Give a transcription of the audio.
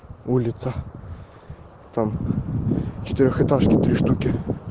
улица там четырехэтажки три штуки